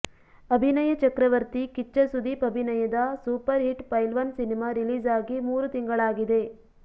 ಅಭಿನಯ ಚಕ್ರವರ್ತಿ ಕಿಚ್ಚ ಸುದೀಪ್ ಅಭಿನಯದ super hit Pailwaan cinema release ಆಗಿ ಮೂರು ತಿಂಗಳಾಗಿದೆ